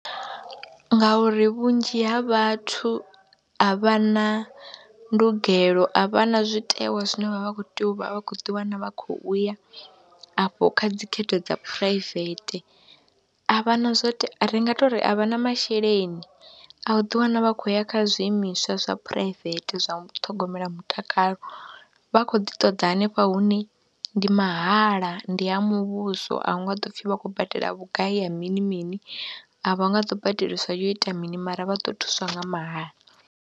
Ngauri vhunzhi ha vhathu a vha na ndugelo, a vha na zwitewa zwine vha vha khou tea u vha vha khou ḓiwana vha khou u ya afho kha dzi khetho dza phuraivethe, a vha na zwo te, ri nga tou ri a vha na masheleni a u ḓiwana vha khou ya kha zwiimiswa zwa phuraivethe zwa u ṱhogomela mutakalo. Vha khou ḓi ṱoḓa hanefha hune ndi mahala, ndi ha muvhuso a hu nga ḓo pfhi vha khou badela vhugai ya mini mini, a vha nga ḓo badeliswa yo ita mini mara vha ḓo thuswa nga mahala.